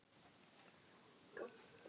Ég kem kannski seinna til þín.